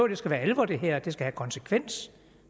det skal være alvor det her det skal have konsekvens